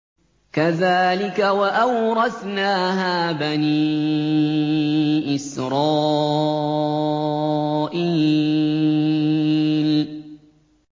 كَذَٰلِكَ وَأَوْرَثْنَاهَا بَنِي إِسْرَائِيلَ